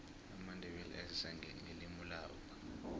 amandebele ayazisa ngelimulabo